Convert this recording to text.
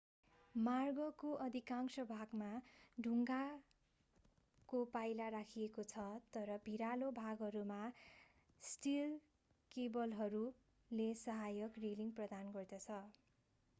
मार्गको अधिकांश भागमा ढुङ्गाको पाइला राखिएको छ र भिरालो भागहरूमा स्टील केबलहरूले सहायक रेलिङ प्रदान गर्छन्